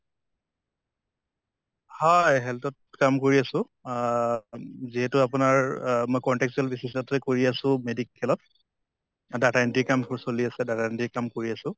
হয় health ত কাম কৰি আছো। অহ অম যিহেতু আপোনাৰ অহ মই contractual basis তে কৰি আছো medical ত, data entry ৰ কাম তো চলি আছে, data entry ৰ কাম কৰি আছো।